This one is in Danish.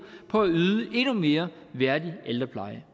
for at yde en endnu mere værdig ældrepleje